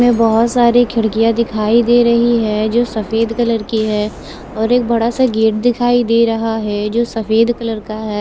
में बहोत सारी खिडकिया दिखाई देर ही है जो सफेद कलर की है और एक बड़ा सा गेट दिखाई दे रहा है जो सफेद कलर का है।